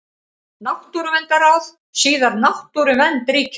Náttúruverndarráð, síðar Náttúruvernd ríkisins.